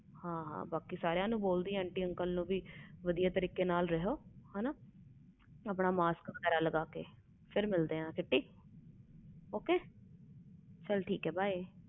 ਹਾਂ ਹਾਂ ਬਾਕੀ ਸਾਰਿਆਂ aunty uncle ਨੂੰ ਬੋਲਦੀ ਨੂੰ ਕਿ ਵਧੀਆ ਤਰੀਕੇ ਨਾਲ ਰਹਿਣ ਮਾਸਕ ਲਗਾ ਕੇ ਰੱਖਣ ਚਲ ਮਿਲਦੇ ਫਿਰ ok by